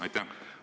Aitäh!